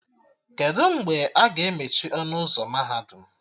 Kedụ mgbe a ga-emechi ọnụ ụzọ mahadum?